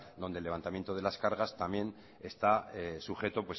donde el levantamiento de las cargas también está sujeto